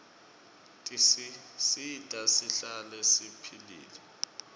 tisisita sihlale siphilile